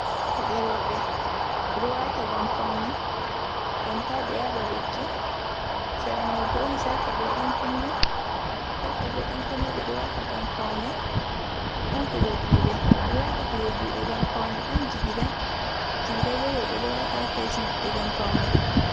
Paɗe roɓe. Ɓe ɗo wata ngam paune, ngam ta ɓe yaɓa ɗotti. Sera mai ɓo ɗon sarka ɓe dan kunne. Sarka ɓe dan kunne ɓe ɗo wata ngam paune. Ɗon kuje juɗe. Ɓeɗo wata kuje juɗe ngam paune. Ɗon jigida, jigida ɓo roɓe ɗo wata ha kesi maɓɓe ngam paune.